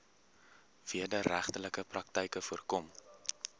wederregtelike praktyke voorkom